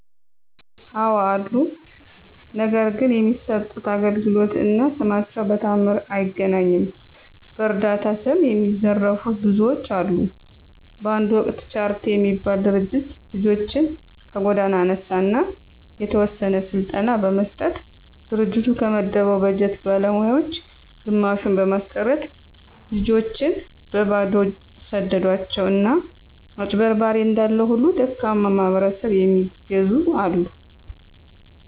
አወ አሉ። ነገር ግን የሚሠጡት አገልግሎት እና ስማቸው በተአምር አይገናኝም። በዕረዳታ ስም የሚዘርፉ ብዙዎች አሉ። በአንድ ወቅት ቻረቲ የሚባል ድርጅት ልጆችን ከጎዳና አነሣ አና የተወሰነ ስልጠና በመስጠት ድርጅቱ ከመደበው በጀት ባለሞያወች ግማሹን በማስቀረት ልጆችን በበባዶው ሰደዷቸው። አና አጭበርባሪ እንዳለ ሁሉ ደካማ ማሕበረሰብ የሚየግዙ አሉ።